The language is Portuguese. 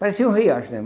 Parecia um riacho, né?